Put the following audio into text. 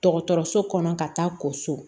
Dɔgɔtɔrɔso kɔnɔ ka taa kɔ so